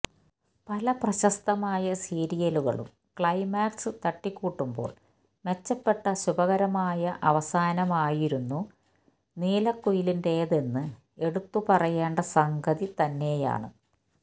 പല പ്രശസ്തമായ സീരിയലുകളും ക്ലൈമാക്സ് തട്ടിക്കൂട്ടുമ്പോള് മെച്ചപ്പെട്ട ശുഭകരമായ അവസാനമായിരുന്നു നീലക്കുയിലിന്റേത് എന്ന് എടുത്ത് പറയേണ്ട സംഗതി തന്നെയാണ്